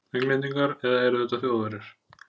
Englendingar- eða eru þetta Þjóðverjar?